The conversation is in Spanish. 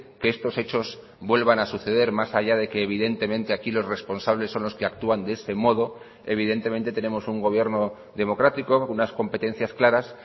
que estos hechos vuelvan a suceder más allá de que evidentemente aquí los responsables son los que actúan de ese modo evidentemente tenemos un gobierno democrático unas competencias claras